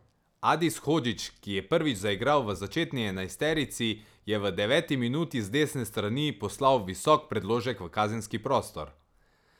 Adis Hodžić, ki je prvič zaigral v začetni enajsterici, je v deveti minuti z desne strani poslal visok predložek v kazenski prostor.